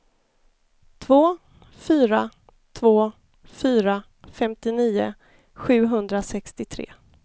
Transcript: två fyra två fyra femtionio sjuhundrasextiotre